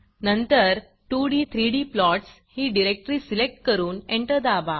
नंतर 2d 3d plots ही directory select करून एंटर दाबा